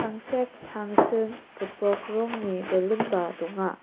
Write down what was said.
tangsek tangsim gipok rongni baloon-ba donga.